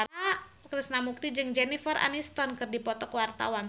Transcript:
Krishna Mukti jeung Jennifer Aniston keur dipoto ku wartawan